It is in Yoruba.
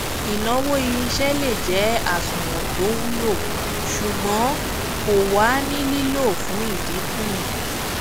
ìnáwó irinṣẹ lè jẹ àsùnwọn tó wulo ṣùgbọn kò wà ní lílò fún ìdínkù